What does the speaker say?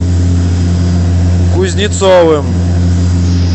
кузнецовым